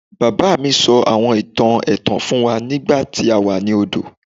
Baba mi sọ awọn itan ẹtan fun wa nigbati a wa ni ọdọ